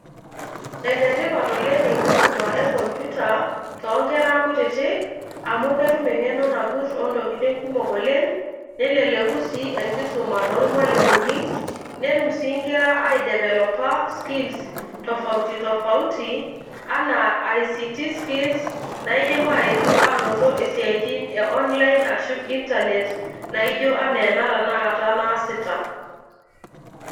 Ene tipat oleng' enkisuma e komputa to nkera kutitik amu ketum eng'eno nagut o ntokitin kumok oleng' neleleku sii enkisuma tormwalimuni, netum sii nkera aidevelopa skills tofauti tofauti anaa ict skills naidim aetu anoto isiatin e online ashu internet naijo anaa ena tenakata naasita.